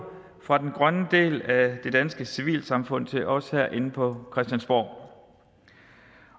fra den grønne del af det danske civilsamfund til os herinde på christiansborg